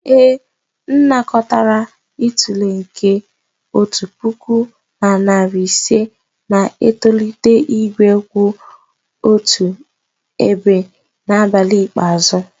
ee, M anakọtara itule nke otu puku na narị ise na-etolite igwe kwụ otu ebe n'abalị ikpeazụ.